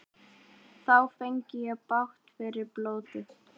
Þá fengi ég bágt fyrir blótið.